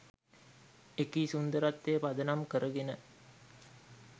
එකී සුන්දරත්වය පදනම් කරගෙන